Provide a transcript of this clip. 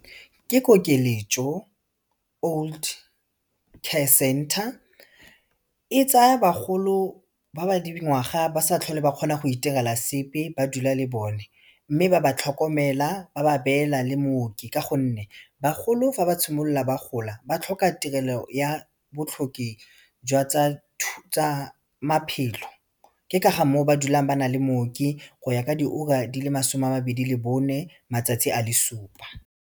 Ke kokeletšo old care center, e tsaya bagolo ba ba dingwaga ba sa tlhole ba kgona go itirela sepe ba dula le bone mme ba ba tlhokomela ba ba beela le mooki ka gonne bagolo fa ba simolla ba gola ba tlhoka tirelo ya botlhoki jwa tsa maphelo ke ka ga moo ba dulang ba nale mooki go ya ka diura di le masome a mabedi le bone matsatsi a le supa.